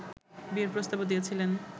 বিয়ের প্রস্তাবও দিয়েছিলেন